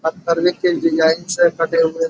पत्थरवे के डिजाईन से कटे हुए।